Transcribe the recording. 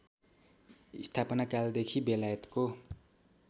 स्थापना कालदेखि बेलायतको